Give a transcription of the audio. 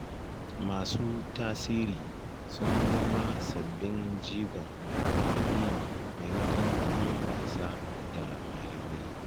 Masu tasiri sun zama sabbin jigon al'umma maimakon 'yan wasa da malamai